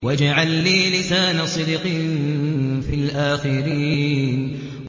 وَاجْعَل لِّي لِسَانَ صِدْقٍ فِي الْآخِرِينَ